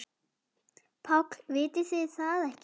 PÁLL: Vitið þið það ekki?